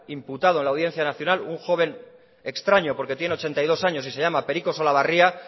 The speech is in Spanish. imputado en la audiencia nacional un joven extraño porque tiene ochenta y dos años y se llama periko solabarria